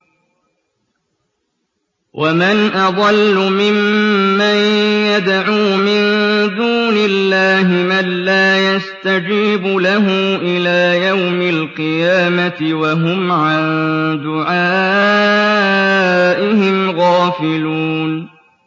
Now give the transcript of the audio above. وَمَنْ أَضَلُّ مِمَّن يَدْعُو مِن دُونِ اللَّهِ مَن لَّا يَسْتَجِيبُ لَهُ إِلَىٰ يَوْمِ الْقِيَامَةِ وَهُمْ عَن دُعَائِهِمْ غَافِلُونَ